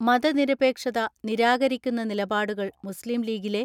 മതനിര പേക്ഷത നിരാകരിക്കുന്ന നിലപാടുകൾ മുസ്ലീംലീഗിലെ